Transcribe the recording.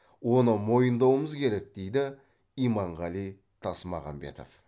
оны мойындауымыз керек дейді иманғали тасмағамбетов